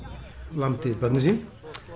lamdi börnin sín